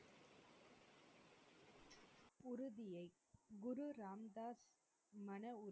Guru Ram Das மனஉறு,